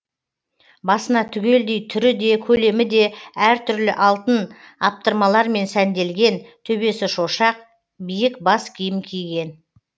басына түгелдей түрі де көлемі де әр түрлі алтын аптырмалармен сәнделген төбесі шошақ биік бас киім киген